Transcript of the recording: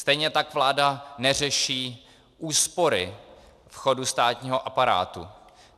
Stejně tak vláda neřeší úspory chodu státního aparátu.